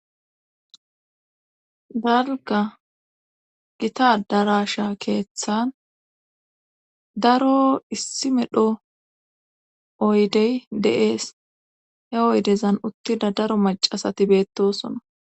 Dalga gita adarasha keeththan daro issi medho oydey de'ees he oydezan uttida daro macasati beettosona